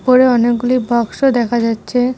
উপরে অনেকগুলি বাক্স দেখা যাচ্ছে।